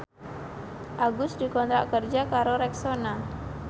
Agus dikontrak kerja karo Rexona